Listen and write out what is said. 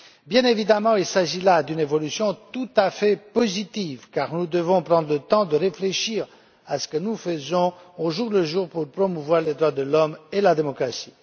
Bien évidemment, il s'agit d'une évolution tout à fait positive, car nous devons prendre le temps de réfléchir à ce que nous faisons, au jour le jour, pour promouvoir les droits de l'homme et la démocratie.